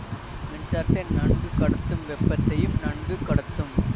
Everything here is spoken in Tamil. மின்சாரத்தை நன்கு கடத்தும் வெப்பத்தையும் நன்கு கடத்தும்